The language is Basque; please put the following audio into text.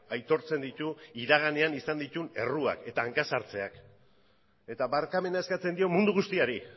aitortzen ditu iraganean izan dituen erruak eta hanka sartzeak eta barkamena eskatzen dio mundu guztiari